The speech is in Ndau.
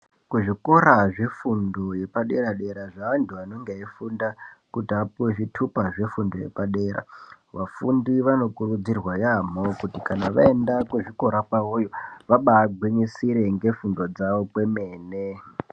Kuzvikora zve fundo yepa dera dera zve antu anonga eyi funda kuti vapihwe zvitupa zve fundo ye padera vafundi vano kurudzirwa yambo kuti kana vaenda ku zvikora kwavoyo vabai ngwisire nge fundo dzavo kwemene.